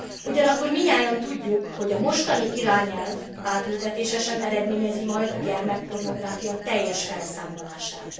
Ugyanakkor mindnyájan tudjuk, hogy a mostani irányelv átültetése sem eredményezi majd a gyermekpornográfia teljes felszámolását.